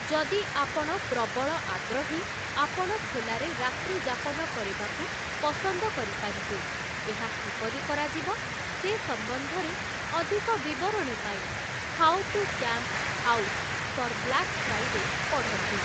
ଯଦି ଆପଣ ପ୍ରବଳ ଆଗ୍ରହୀ, ଆପଣ ଖୋଲାରେ ରାତ୍ରିଯାପନ କରିବାକୁ ପସନ୍ଦ କରିପାରିବେ । ଏହା କିପରି କରାଯିବ ସେ ସମ୍ବନ୍ଧରେ ଅଧିକ ବିବରଣୀ ପାଇଁ 'how to camp out for black Friday' ପଢ଼ନ୍ତୁ ।